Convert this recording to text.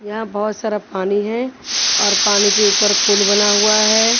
यहां बहोत सारा पानी है और पानी के ऊपर पुल बना हुआ है।